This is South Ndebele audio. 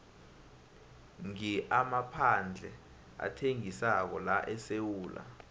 ngi amaphandle athengisako laesewula